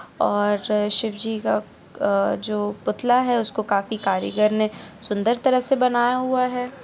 और शिव जी का अ जो पुतला है उसको काफी कारीगर ने सुंदर तरह से बनाया हुआ है।